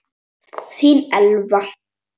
Þín Elfa.